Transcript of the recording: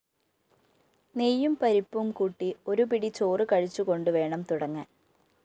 നെയ്യും പരിപ്പും കൂട്ടി ഒരുപിടിചോറ്കഴിച്ചുകൊണ്ടുവേണം തുടങ്ങാന്‍